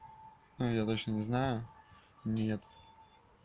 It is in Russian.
ну я дальше не знаю нет